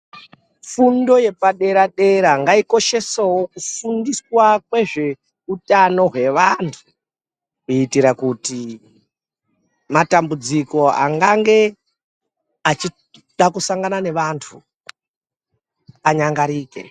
Fundo yepadera-dera ngaikoshesewo kufundiswa kwezveutano hwevantu kuitira kuti matambudziko angange achida kusangana nevantu anyangarike.